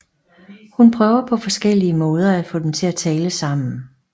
Hun prøver på forskellige måder at få dem til at tale sammen